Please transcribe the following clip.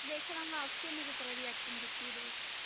ਵੇਖਣਾ ਮੈਂ ਅਕਸ਼ੇ ਨੇ ਕਿਸ ਤਰ੍ਹਾਂ ਦੀ acting ਕੀਤੀ ਇਹਦੇ ਵਿੱਚ।